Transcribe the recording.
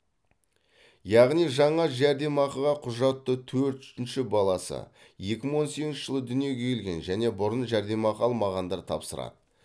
яғни жаңа жәрдемақыға құжатты төртінші баласы екі мың он сегізінші жылы дүниеге келген және бұрын жәрдемақы алмағандар тапсырады